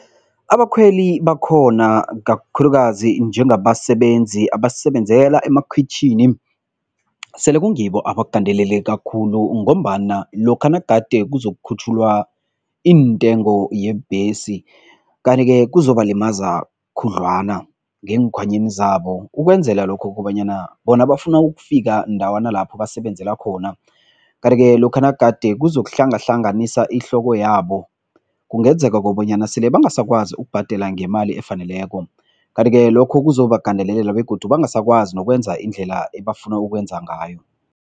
Abakhweli bakhona kakhulukazi njengabasebenzi abasebenzela emakhwitjhini sele kungibo abagandeleleka khulu ngombana lokha nagade kuzokukhutjhululwa iintengo yebhesi kanti-ke kuzobalimaza khudlwana ngeenkhwanyeni zabo ukwenzela lokho kobanyana bona bafuna ukufika ndawana lapho basebenzela khona kanti-ke lokha nagade kuzokuhlangahlanganisa ihloko yabo, kungenzeka kobanyana sele bangasakwazi ukubhadela ngemali efaneleko kanti-ke lokho kuzobagandelelela begodu bangasakwazi nokwenza indlela ebafuna ukwenza ngayo.